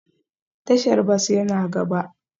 Tashar bas yana gaba